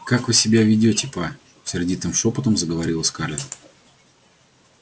как вы себя ведёте па сердитым шёпотом заговорила скарлетт